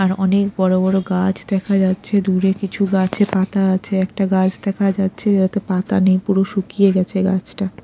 আর অনেক বড় বড় গাছ দেখা যাচ্ছে দূরে কিছু গাছে পাতা আছে একটা গাছ দেখা যাচ্ছে যেটাতে পাতা নেই পুরো শুকিয়ে গেছে গাছটা।